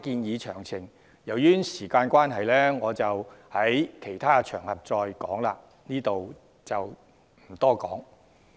由於時間關係，我會留待其他場合解說相關建議的詳情，在此不贅。